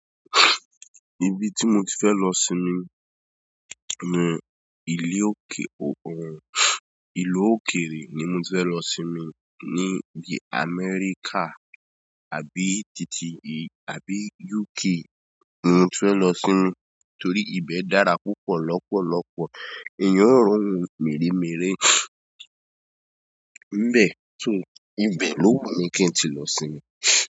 Ibi tí mo ti fẹ́ lọ sinmi, mú ìlú òkèèrè ni mo ti fẹ́ lọ sinmi níi Amẹ́ríkà àbí tìti àbí UK. Mo ti fẹ́ lọ sinmi torí ibẹ̀ dára púpọ̀ lọ́pọ̀lọ́pọ̀ èèyàn roun mẹ́rẹ̀mẹ́rẹ̀. So, ibe ló wù mi kí n ti lọ sinmi.